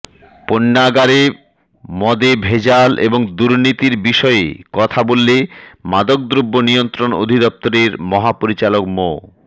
পণ্যাগারে মদে ভেজাল এবং দুর্নীতির বিষয়ে কথা বললে মাদকদ্রব্য নিয়ন্ত্রণ অধিদপ্তরের মহাপরিচালক মো